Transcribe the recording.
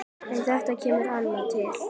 En það kemur annað til.